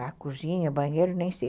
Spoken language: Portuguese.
A cozinha, banheiro, nem sei.